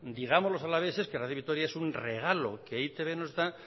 digamos a los alaveses que radio vitoria es un regalo que e i te be nos da